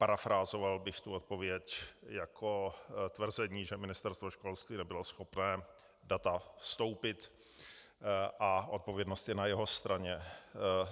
Parafrázoval bych tu odpověď jako tvrzení, že Ministerstvo školství nebylo schopné data vstoupit a odpovědnost je na jeho straně.